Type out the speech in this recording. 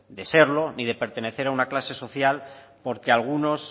de serlo ni de pertenecer a una clase social porque algunos